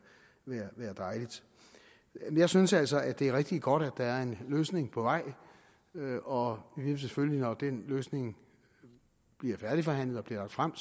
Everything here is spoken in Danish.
dejligt jeg synes altså det er rigtig godt at der en løsning på vej og vi vil selvfølgelig når den løsning bliver færdigforhandlet og bliver lagt frem